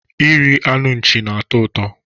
Iri anụ nchi na-atọ ụtọ